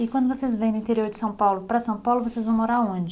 E quando vocês vêm do interior de São Paulo para São Paulo, vocês vão morar onde?